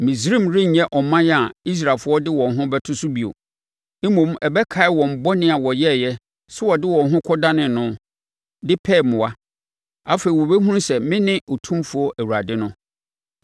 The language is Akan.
Misraim renyɛ ɔman a Israelfoɔ de wɔn ho bɛto no so bio, mmom ɛbɛkae wɔn bɔne a wɔyɛeɛ sɛ wɔde wɔn ho kɔdane no, de pɛɛ mmoa. Afei, wɔbɛhunu sɛ mene Otumfoɔ Awurade no.’ ”